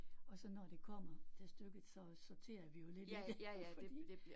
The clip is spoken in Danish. Og så når det kommer til stykket så sorterer vi jo lidt i det fordi